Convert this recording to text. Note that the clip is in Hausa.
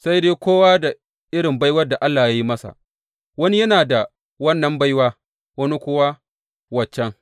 Sai dai kowa da irin baiwar da Allah ya yi masa; wani yana da wannan baiwa, wani kuwa wancan.